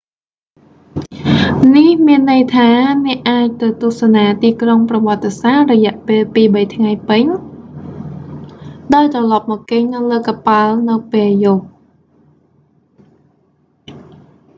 នេះមានន័យថា អ្នកអាចទៅទស្សនាទីក្រុងប្រវត្តិសាស្ត្ររយៈពេលពីរបីថ្ងៃពេញ ដោយត្រឡប់មកគេងនៅលើកប៉ាល់នៅពេលយប់